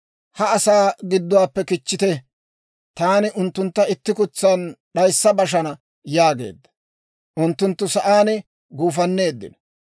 «Ha asaa gidduwaappe kichchite; taani unttuntta itti kutsan d'ayissa bashana» yaageedda. Unttunttu sa'aan guufanneeddino.